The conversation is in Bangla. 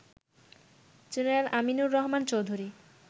জেনারেল আমিনুর রহমান চৌধুরী